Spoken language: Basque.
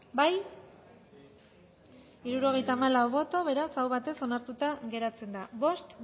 bozkatu dezakegu bozketaren emaitza onako izan da hirurogeita hamalau eman dugu bozka hirurogeita hamalau boto aldekoa beraz aho batez onartuta geratzen da bost